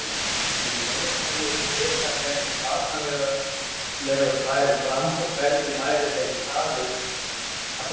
Um leið hefði hún vitað hvernig banalegur færu fram og hvernig væri staðið að þeim.